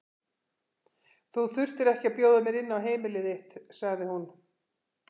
Þú þurftir ekki að bjóða mér inn á heimili þitt, sagði hún.